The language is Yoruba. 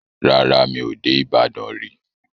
Rárá, mi ò dé Ìbàdàn rí.